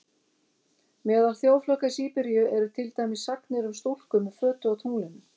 Meðal þjóðflokka í Síberíu eru til dæmis sagnir um stúlku með fötu á tunglinu.